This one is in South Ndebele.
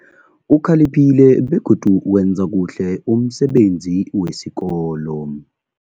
Ukhaliphile begodu uwenza kuhle umsebenzi wesikolo.